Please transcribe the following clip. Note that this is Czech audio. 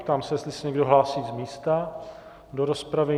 Ptám se, jestli se někdo hlásí z místa do rozpravy.